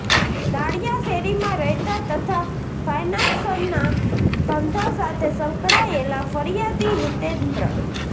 દાળીયા શેરીમાં રહેતા તથા ફાયનાન્સના ધંધા સાથે સંકળાયેલા ફરિયાદી હિતેન્દ્ર